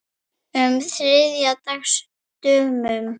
um þriðja dags dömum.